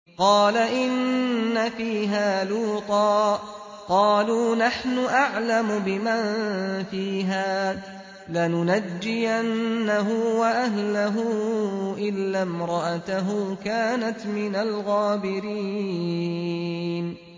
قَالَ إِنَّ فِيهَا لُوطًا ۚ قَالُوا نَحْنُ أَعْلَمُ بِمَن فِيهَا ۖ لَنُنَجِّيَنَّهُ وَأَهْلَهُ إِلَّا امْرَأَتَهُ كَانَتْ مِنَ الْغَابِرِينَ